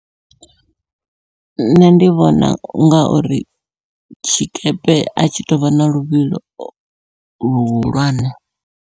Nṋe ndi vhona unga uri tshikepe atshi tovha na luvhilo luhulwane.